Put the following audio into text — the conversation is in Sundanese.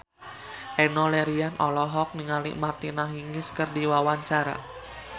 Enno Lerian olohok ningali Martina Hingis keur diwawancara